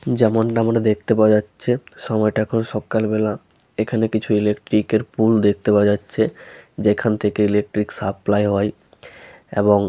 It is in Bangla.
যেমনটা আমরা দেখতে পাওয়া যাচ্ছে সময় টা এখন সকাল বেলা। এখানে কিছু ইলেট্রিক এর পোল দেখতে পাওয়া যাচ্ছে। যেখান থেকে ইলেকট্রিক সাপ্লাই হয় এবং--